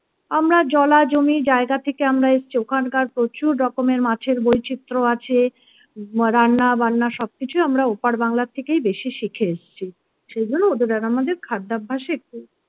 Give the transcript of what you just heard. আমরা জলা জমি জায়গা থেকে আমরা এসেছি ওখানকার প্রচুর রকমের মাছের বৈচিত্র আছে রান্নাবান্না সবকিছুই আমরা ওপার বাংলা থেকে বেশি শিখে এসেছি সেগুলো ওদের আর আমাদের খাদ্যাভ্যাসে একটু